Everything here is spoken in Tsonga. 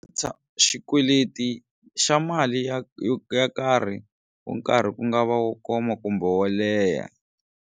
Xikweleti xa mali ya yo karhi u nkarhi ku nga va wo koma kumbe wo leha.